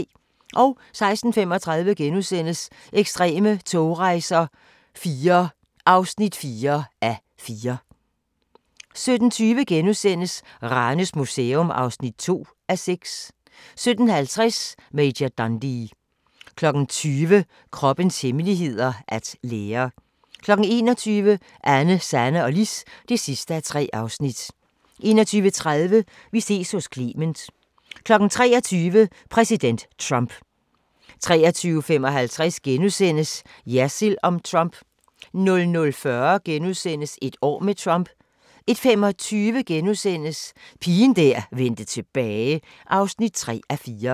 16:35: Ekstreme togrejser IV (4:4)* 17:20: Ranes Museum (2:6)* 17:50: Major Dundee 20:00: Kroppens hemmeligheder: At lære 21:00: Anne, Sanne og Lis (3:3) 21:30: Vi ses hos Clement 23:00: Præsident Trump 23:55: Jersild om Trump * 00:40: Et år med Trump * 01:25: Pigen der vendte tilbage (3:4)*